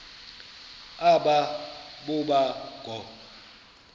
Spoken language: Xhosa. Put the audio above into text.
aba boba ngoo